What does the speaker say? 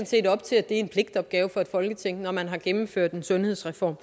set op til at det er en pligtopgave for et folketing når man har gennemført en sundhedsreform